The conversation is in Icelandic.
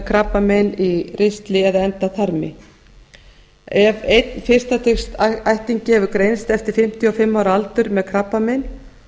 krabbamein í ristli eða endaþarmi ef einn fyrsta stigs ættingi hefur greinst eftir fimmtíu og fimm ára aldur með krabbamein